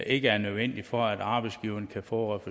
ikke er nødvendige for at arbejdsgiveren kan få